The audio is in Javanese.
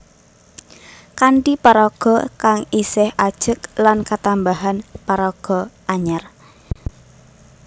Kanthi paraga kang isih ajeg lan ketambahan paraga anyar